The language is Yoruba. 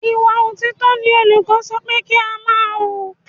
Ìwà òtítọ́ ni olùkọ́ sọ pé kí á máa wù.